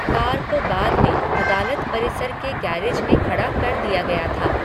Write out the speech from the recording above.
Car को बाद में अदालत परिसर के गैरेज में खड़ा कर दिया गया था।